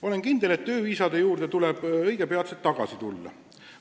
Olen kindel, et tööviisade juurde tuleb õige peatselt tagasi tulla.